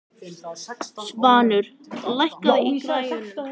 Svanur, lækkaðu í græjunum.